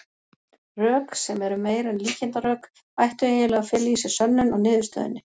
Rök, sem eru meira en líkindarök, ættu eiginlega að fela í sér sönnun á niðurstöðunni.